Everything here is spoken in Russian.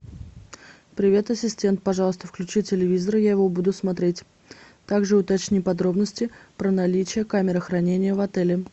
привет ассистент пожалуйста включи телевизор я его буду смотреть также уточни подробности про наличие камеры хранения в отеле